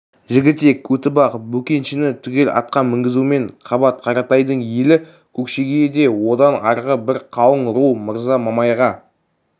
жігітек көтібақ бөкеншіні түгел атқа мінгізумен қабат қаратайдың елі көкшеге де одан арғы бір қалың ру мырза мамайға